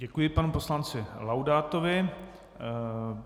Děkuji panu poslanci Laudátovi.